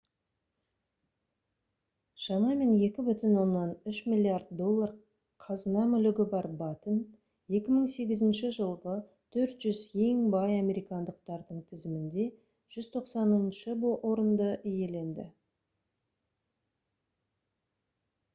шамамен 2,3 миллиард доллар қазына-мүлігі бар баттен 2008 жылғы 400 ең бай американдықтардың тізімінде 190-шы орынды иеленді